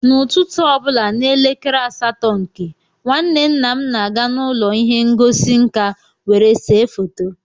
n’ụtụtụ ọ bụla n’elekere asatọ nke, nwanne nna m na-aga n’ụlọ ihe ngosi nka were se foto